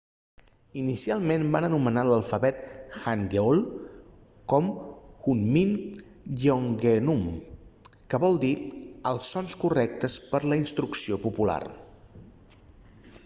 inicialment va anomenar l'alfabet hangeul com hunmin jeongeum que vol dir els sons correctes per a la instrucció popular